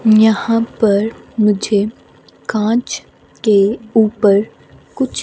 यहां पर मुझे कांच के ऊपर कुछ--